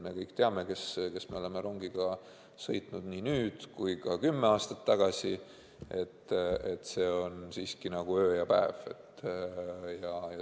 Me kõik teame, kes me oleme rongiga sõitnud nii nüüd kui ka kümme aastat tagasi – see on siiski nagu öö ja päev.